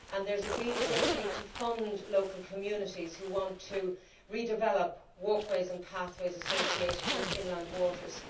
There is a great need to fund local communities which want to redevelop walkways and pathways associated with inland waters.